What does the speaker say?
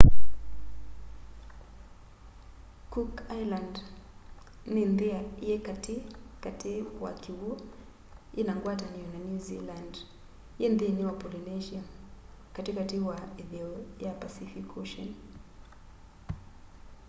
cook island ni nthi yi kati kati wa kiw'u ina ngwatanio na new zealand yi nthini wa polynesia kati kati wa itheo ya pacific ocean